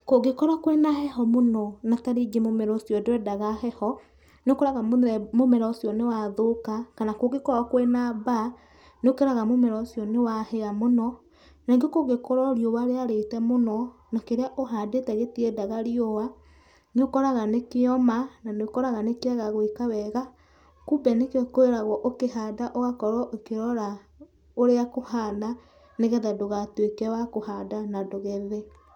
Kũngĩkorwo kwĩna heho mũno na ta rĩngĩ mũmera ũcio ndwendaga heho, nĩũkoraga mũmera ũcio nĩwathũka, kana kũngĩkorwo kwĩna mbaa, nĩũkoraga mũmera ũcio nĩwahĩa mũno, na ningĩ kũngĩkorwo riũa rĩarĩte mũno na kĩrĩa ũhandĩte gĩtiendaga riũa, nĩ ũkoraga nĩkĩoma na nĩũkoraga nĩkĩaga gwĩka wega. Kumbe nĩkĩo kwĩragwo ũkĩhanda ũgakorwo ũkĩrora ũrĩa kũhana nĩgetha ndũgatuĩke wa kũhanda na ndũgethe.